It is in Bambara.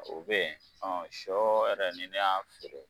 O bɛ yen, ɔ sɔ yɛrɛ ni ne y'a feere.